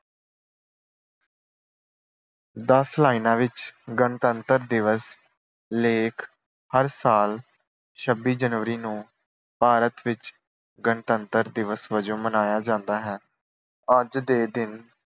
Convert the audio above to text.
ਦਸ ਲਾਈਨਾਂ ਵਿੱਚ ਗਣਤੰਤਰ ਦਿਵਸ ਲੇਖ ਹਰ ਸਾਲ ਛੱਬੀ ਜਨਵਰੀ ਨੂੰ ਭਾਰਤ ਵਿੱਚ ਗਣਤੰਤਰ ਦਿਵਸ ਵਜੋਂ ਮਨਾਇਆ ਜਾਂਦਾ ਹੈ। ਅੱਜ ਦੇ ਦਿਨ